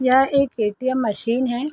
यह एक ATM. Machine है।